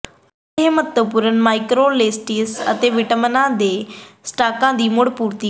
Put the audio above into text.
ਅਤੇ ਇਹ ਮਹੱਤਵਪੂਰਣ ਮਾਈਕਰੋਅਲੇਮੇਂਟਸ ਅਤੇ ਵਿਟਾਮਿਨਾਂ ਦੇ ਸਟਾਕਾਂ ਦੀ ਮੁੜ ਪੂਰਤੀ ਕਰਦਾ ਹੈ